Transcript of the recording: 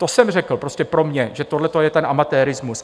To jsem řekl, prostě pro mě, že tohle je ten amatérismus.